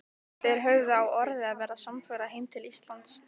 Þeir höfðu á orði að verða samferða heim til Íslands.